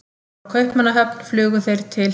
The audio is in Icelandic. Frá Kaupmannahöfn flugu þeir til